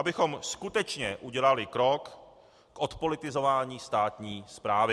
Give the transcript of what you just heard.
Abychom skutečně udělali krok k odpolitizování státní správy.